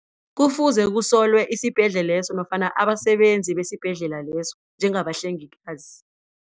Kufuze kusolwe isibhedlela leso nofana abasebenzi besibhedlela leso njengabahlengikazi.